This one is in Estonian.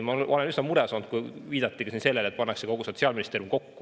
Ma olin üsna mures, kui viidati sellele, et kogu Sotsiaalministeerium pannakse kokku.